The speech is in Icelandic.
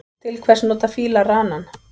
Til hvers nota fílar ranann?